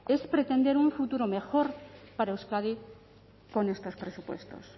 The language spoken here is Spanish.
es pretender un futuro mejor para euskadi con estos presupuestos